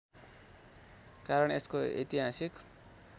कारण यसको ऐतिहासिक